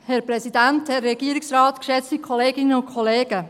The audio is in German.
Kommissionssprecherin der SiK-Minderheit.